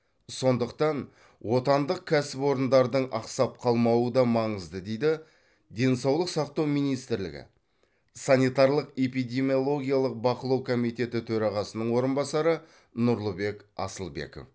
сондықтан отандық кәсіпорындардың ақсап қалмауы да маңызды дейді денсаулық сақтау министрлігі санитарлық эпидемиологиялық бақылау комитеті төрағасының орынбасары нұрлыбек асылбеков